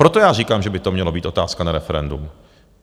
Proto já říkám, že by to měla být otázka na referendum.